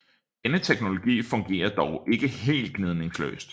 Denne teknologi fungerer dog ikke helt gnidningsløst